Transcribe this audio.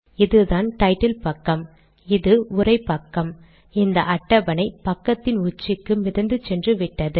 இதுதான் டைட்டில் பக்கம் இது உரை பக்கம் இந்த அட்டவணை பக்கத்தின் உச்சிக்கு மிதந்து சென்றுவிட்டது